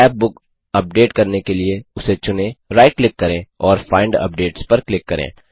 scrap book update करने के लिए उसे चुने राइट क्लिक करें और फाइंड अपडेट्स पर क्लिक करें